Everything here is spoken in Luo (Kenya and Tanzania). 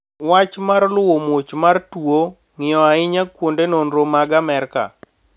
Wach mar luwo muoch mar twono, ng`iyo ahinya kuonde nonro mag Amerka